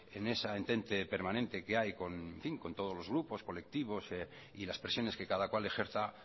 en esa entente permanente que hay con todos los grupos colectivos y las presiones que cada cual ejerza